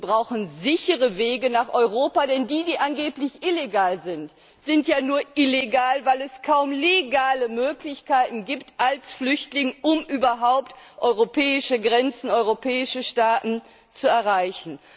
Wir brauchen sichere Wege nach Europa, denn die, die angeblich illegal sind, sind ja nur illegal, weil es für Flüchtlinge kaum legale Möglichkeiten gibt, um überhaupt europäische Grenzen, europäische Staaten zu erreichen.